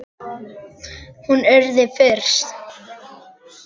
Hún yrði fyrst.